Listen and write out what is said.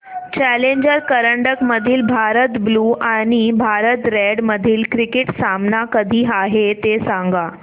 challenger करंडक मधील Bharat blue आणि भारत रेड मधील क्रिकेट सामना कधी आहे ते सांगा